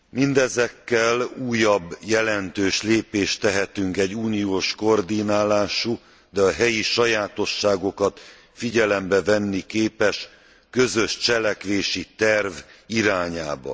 Mindezekkel újabb jelentős lépést tehetünk egy uniós koordinálású, de a helyi sajátosságokat figyelembe venni képes közös cselekvési terv irányába.